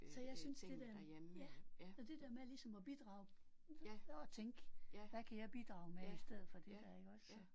Så jeg synes det der ja det der med ligesom at bidrage og tænke hvad kan jeg bidrage med i stedet for det der iggås så